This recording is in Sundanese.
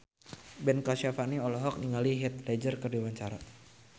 Ben Kasyafani olohok ningali Heath Ledger keur diwawancara